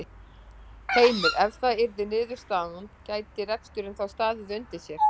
Heimir: Ef það yrði niðurstaðan gæti reksturinn þá staðið undir sér?